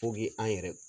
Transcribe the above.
an yɛrɛ